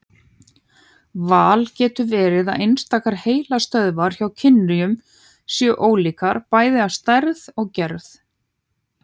Vel getur verið að einstakar heilastöðvar hjá kynjunum séu ólíkar, bæði að stærð og gerð.